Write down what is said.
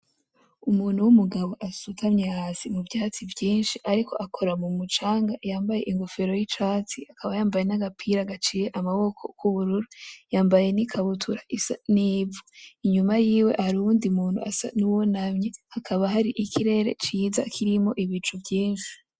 Umuntu w'umugabo asutamye hasi mu vyatsi vyinshi ariko akora mu mucanga yambaye inkofero y'icatsi, akaba yambaye n'agapira gaciye amaboko k'ubururu , yambaye nikabutura isa n'ivu , inyuma yiwe hari uwundi muntu asa nuwunamye , hakaba hari ikirere kirimwo ibicu vyinshi.